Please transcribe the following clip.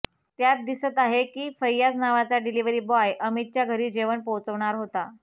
त्यात दिसत आहे की फैयाज नावाचा डिलीव्हरी बॉय अमितच्या घरी जेवण पोहोचवणार होता